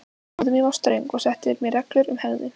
Móðir mín var ströng og setti mér reglur um hegðun.